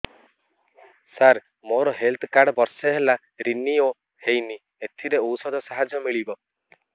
ସାର ମୋର health card ବର୍ଷେ ହେଲା ରିନିଓ ହେଇନି ଏଥିରେ ଔଷଧ ସାହାଯ୍ୟ ମିଳିବ